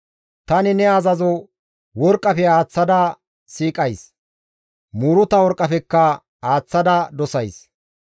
Tani ne azazo worqqafe aaththada siiqays; muuruta worqqafekka aaththada dosays.